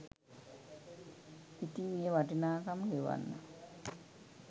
ඉතිං ඒ වටිනාකම ගෙවන්න